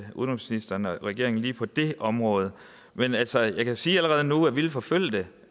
udenrigsministeren og regeringen lige på det område men altså jeg kan sige allerede nu at vi vil forfølge det